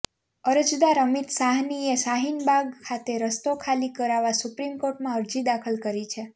અરજદાર અમિત સાહનીએ શાહીનબાગ ખાતે રસ્તો ખાલી કરાવવા સુપ્રીમ કોર્ટમાં અરજી દાખલ કરી છે